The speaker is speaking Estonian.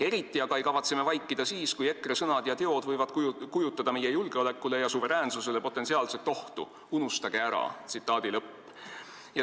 Eriti aga ei kavatse me vaikida siis, kui EKRE sõnad ja teod võivad kujutada meie julgeolekule ja suveräänsusele potentsiaalset ohtu – unustage ära!